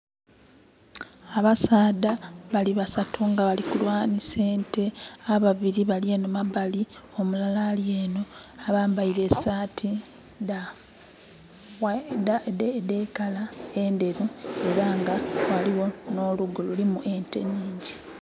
Abasaadha bali basatu nga bali kulwanhisa ente. Ababili bali enho mabali, omulala ali enho. Abambaile esaati edha colour endheru. Era nga ghaligho nh'olugo lulimu ente nhingyi.